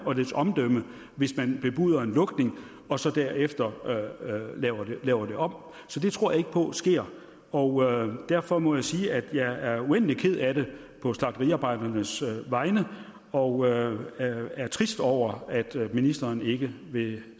og dets omdømme hvis man bebuder en lukning og så derefter laver det om så det tror jeg ikke på sker og derfor må jeg sige at jeg er uendelig ked af det på slagteriarbejdernes vegne og er trist over at ministeren ikke vil